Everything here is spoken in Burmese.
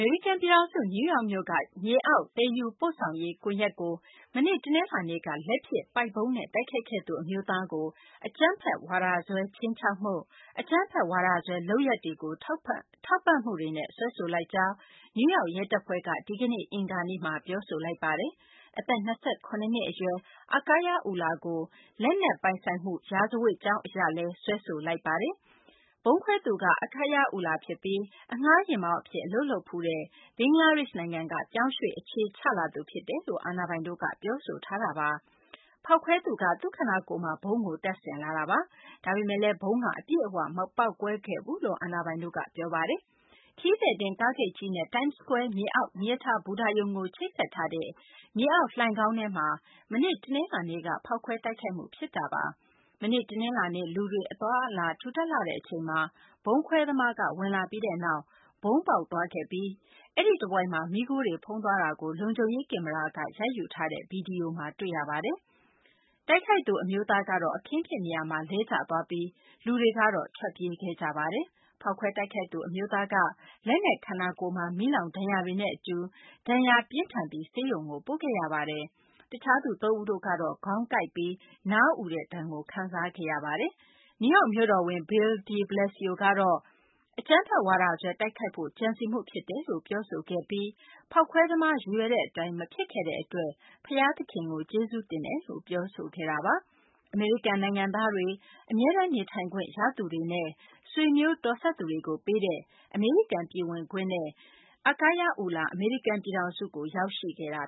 ေရိကန် ပြည်ထောင်စု နယူးယောက်မြို့က မြေအောက် သယ်ယူပို့ဆောင်ရေး ကွန်ယက်ကို မနေ့ တနလာၤနေ့က လက်ဖြစ် ပိုက်ဗုံးနဲ့ တိုက်ခိုက်ခဲ့သူ အမျိုးသားကို အကြမ်းဖက်ဝါဒစွဲ ခြိမ်းခြောက်မှု၊ အကြမ်းဖက်ဝါဒစွဲ လုပ်ရပ်တွေကို ထောက်ပံ့မှုတွေနဲ့ စွဲဆိုလိုက်ကြောင်း နယူးယောက် ရဲတပ်ဖွဲ့က ဒီကနေ့ အင်္ဂါနေ့မှာ ပြောဆိုလိုက်ပါတယ်။ အသက် ၂၇ နှစ် အရွယ် Akayed Ullah ကို လက်နက် ပိုင်ဆိုင်မှုဆိုင်ရာ ရာဇဝတ်ကြောင်းနဲ့လည်း စွဲဆိုလိုက်တာပါ။ ဖောက်ခွဲတိုက်ခိုက်သူက Akayed Ullah ဖြစ်ပြီး အငှားယာဉ်မောင်းအဖြစ် အလုပ်လုပ်ဖူးတဲ့ ဘင်္ဂလားဒေရှ့်နိုင်ငံက ပြောင်းရွှေ့ အခြေချလာသူ ဖြစ်တယ်လို့ အာဏာပိုင်တို့က ပြောဆိုထားပါတယ်။ ဖောက်ခွဲခဲ့သူက သူ့ခန္ဓာကိုယ်မှာ ဗုံးကိုတပ်ဆင်လာတာပါ။ ဒါပေမယ့် ဗုံးက အပြည့်အ၀ မပေါက်ကွဲခဲ့ဘူးလို့ အာဏာပိုင်တို့က ပြောပါတယ်။ ခရီးသည်တင် ကားဂိတ်ကြီးနဲ့ Time Square မြေအောက် မီးရထားဘူတာရုံကို ချိတ်ဆက်ထားတဲ့ မြေအောက် လိုဏ်ခေါင်းထဲမှာ မနေ့ တနလာၤနေ့က ဖောက်ခွဲ တိုက်ခိုက်မှု ဖြစ်တာပါ။ မနေ့ တနလာၤနေ့ လူတွေ အသွားအလာ ထူထပ်လှတဲ့ အချိန်မှာ ဗုံးခွဲသမားက ဝင်လာပြီးနောက် ဗုံးပေါက်သွားပြီး အဲဒီတဝိုက်မှာ မီးခိုးတွေဖုံးသွားတာကို လုံခြုံရေး ကင်မရာက ရိုက်ယူထားတဲ့ ဗွီဒီယိုမှာ တွေ့ရပါတယ်။ တိုက်ခိုက်သူ အမျိုးသားကတော့ အခင်းဖြစ်နေရာမှာ လဲကျသွားပြီး လူတွေက ထွက်ပြေးခဲ့ကြပါတယ်။ ဖောက်ခွဲတိုက်ခိုက်သူ အမျိုးသားကတော့ လက်နဲ့ ခန္ဓာကိုယ်မှာ မီးလောင်ဒဏ်ရာတွေနဲ့အတူ ဒဏ်ရာ ပြင်းထန်ပြီး ဆေးရုံကို ပို့ခဲ့ရပါတယ်။ တခြားသူ သုံးဦးတို့ကတော့ ခေါင်းကိုက်ပြီး နားအူတဲ့ဒဏ်ကို ခံစားခဲ့ရတာပါ။ နယူးယောက် မြို့တော်ဝန် Bill de Blasio ကတော့ အကြမ်းဖက်ဝါဒစွဲ တိုက်ခိုက်ဖို့ ကြံစည်မှုဖြစ်တယ်လို့ ပြောဆိုလိုက်ပြီး ဖောက်ခွဲသမား ရည်ရွယ်တဲ့ အတိုင်း မဖြစ်ခဲ့တဲ့ အတွက် ဘုရားသခင်ကို ကျေးဇူးတင်ကြောင်း ပြောဆိုခဲ့ပါတယ်။ အမေရိကန် နိုင်ငံသားတွေ၊ အမြဲတမ်းနေထိုင်ခွင့်ရသူနဲ့ ဆွေမျိုးတော်စပ်သူတွေကို ပေးတဲ့ အမေရိကန် ပြည်ဝင်ခွင့်နဲ့ Ullah အမေရိကန် ပြည်ထောင်စုကို ရောက်ခဲ့တာ